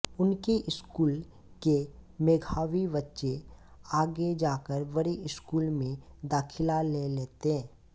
उनके स्कूल के मेघावी बच्चे आगे जाकर बड़े स्कूल में दाखिला ले लेते